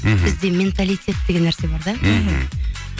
мхм бізде менталитет деген нәрсе бар да мхм